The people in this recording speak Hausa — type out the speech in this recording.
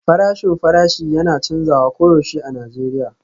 Farashin farashi yana canzawa koyaushe a Najeriya